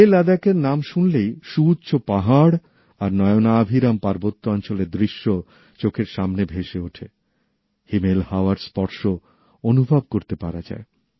লেহ লাদাখের নাম শুনলেই সুউচ্চ পাহাড় আর নয়নাভিরাম পার্বত্য অঞ্চলের দৃশ্য চোখের সামনে ভেসে ওঠে হিমেল হাওয়ার স্পর্শ অনুভব করতে পারা যায়